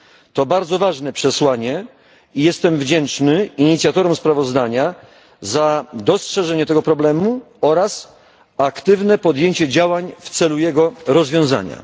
To bardzo ważne przesłanie i jestem wdzięczny inicjatorom sprawozdania za dostrzeżenie tego problemu oraz aktywne podjęcie działań w celu jego rozwiązania.